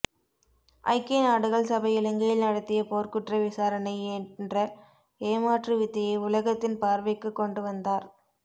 ஐக்கிய நாடுகள் சபை இலங்கையில் நடத்திய போர்க்குற்ற விசாரணை என்ற ஏமாற்று வித்தையை உலகத்தின் பார்வைக்குக் கொண்டுவந்தார்